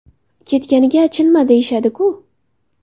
Ketganiga achinma deyishadi-ku.